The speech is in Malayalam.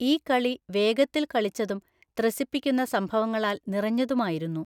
ഈ കളി വേഗത്തിൽ കളിച്ചതും ത്രസിപ്പിക്കുന്ന സംഭവങ്ങളാൽ നിറഞ്ഞതുമായിരുന്നു.